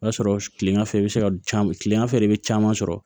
O y'a sɔrɔ kilegan fɛ i bɛ se ka tilegan fɛ de bɛ caman sɔrɔ